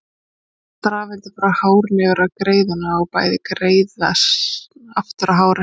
Þá færast rafeindir frá hárinu yfir á greiðuna og bæði greiðan og hárið hlaðast.